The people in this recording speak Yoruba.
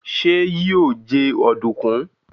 ṣe yíò jé Ọ̀dùnkún?